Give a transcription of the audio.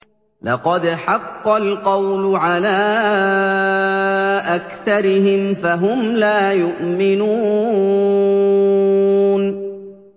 لَقَدْ حَقَّ الْقَوْلُ عَلَىٰ أَكْثَرِهِمْ فَهُمْ لَا يُؤْمِنُونَ